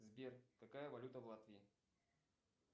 сбер какая валюта в латвии